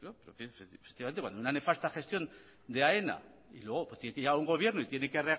efectivamente cuando una nefasta gestión de aena y a un gobierno y tiene que